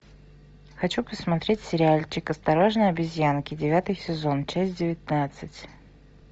хочу посмотреть сериальчик осторожно обезьянки девятый сезон часть девятнадцать